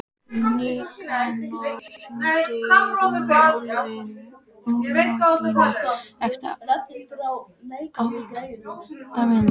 Nikanor, hringdu í Runólfínu eftir átta mínútur.